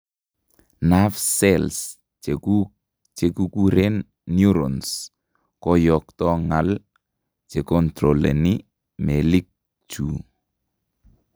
Nerve cells chekuuk chekikureen neurons koyoktoo ng'al checontroleni meelikchu